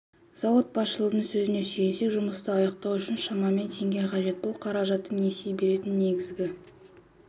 зауыт басшылығының сөзіне сүйенсек жұмысты аяқтау үшін шамамен теңге қажет бұл қаражатты несие беретін негізгі